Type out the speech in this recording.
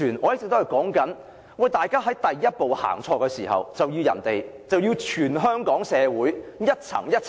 我一直指出，第一步走錯了，卻牽連全香港社會各階層......